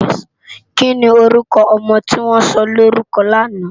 Kini órùkò òmò tiwòn sòlórùkò làná?